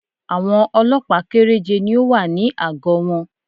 Àwọn Ọlọ́pàá kẹ́rẹ́je ni ó wà ní àgọ́ wọn